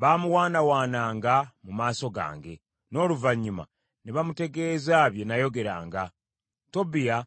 Baamuwaanawaananga mu maaso gange, n’oluvannyuma ne bamutegeeza bye nayogeranga. Tobiya